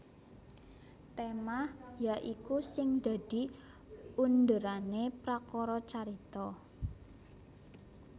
Tema ya iku sing dadi underane prakara carita